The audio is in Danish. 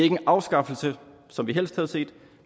en afskaffelse som vi helst havde set